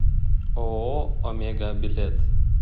ооо омега билет